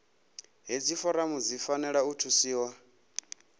hedzi foramu dzi fanela u thusiwa